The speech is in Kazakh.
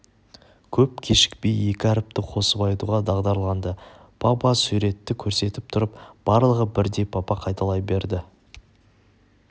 көп кешікпей екі әріпті қосып айтуға дағдыланды па-па суретті көрсетіп тұрып барлығы бірдей па-па қайталай берді